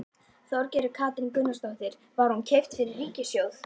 Þorgerður Katrín Gunnarsdóttir: Var hún keypt fyrir ríkissjóð?